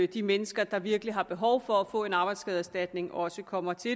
de mennesker der virkelig har behov for at få en arbejdsskadeerstatning også kommer til